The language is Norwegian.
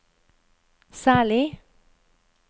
særlig